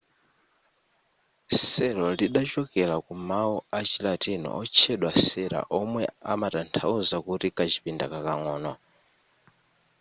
cell lidachokera ku mawu achilatini otchedwa cella omwe amatanthauza kuti kachipinda kakang'ono